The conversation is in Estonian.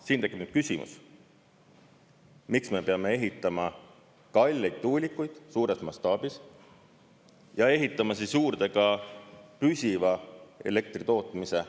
Siin tekib küsimus, miks me peame ehitama kalleid tuulikuid suures mastaabis ja ehitama juurde ka püsiva elektritootmise.